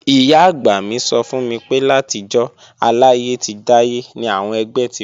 Ìyá-àgbà mi sọ fún mi pé látijọ́ aláyé ti dáyé ni àwọn ẹgbẹ́ ti wà